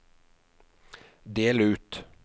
del ut